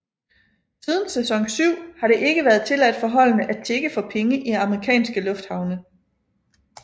Siden sæson syv har det ikke været tilladt for holdene at tigge for penge i amerikanske lufthavne